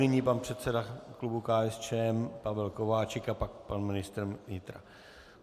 Nyní pan předseda klubu KSČM Pavel Kováčik a pak pan ministr vnitra.